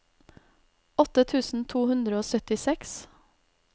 åtte tusen to hundre og syttiseks